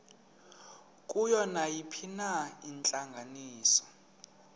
kuyo nayiphina intlanganiso